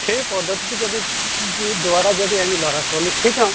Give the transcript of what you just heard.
সেই পদ্ধ্তি টো যদি দ্বাৰা যদি আমি লʼৰা ছোৱালীক শিকাওঁ